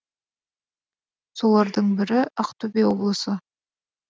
солардың бірі ақтөбе облысы